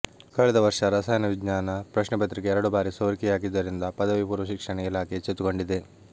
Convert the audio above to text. ಕಳೆದ ವರ್ಷ ರಸಾಯನ ವಿಜ್ಞಾನ ಪ್ರಶ್ನೆಪತ್ರಿಕೆ ಎರಡು ಬಾರಿ ಸೋರಿಕೆಯಾಗಿದ್ದರಿಂದ ಪದವಿ ಪೂರ್ವ ಶಿಕ್ಷಣ ಇಲಾಖೆ ಎಚ್ಚೆತ್ತುಕೊಂಡಿದೆ